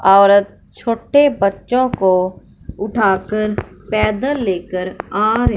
औरत छोटे बच्चों को उठाकर पैदल लेकर आ रही--